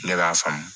Ne b'a faamu